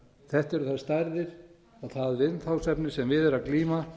þetta eru þær stærðir og það umfangsefni sem við er að glíma